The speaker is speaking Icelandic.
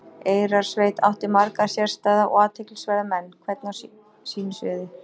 Eyrarsveit átti marga sérstæða og athyglisverða menn, hvern á sínu sviði.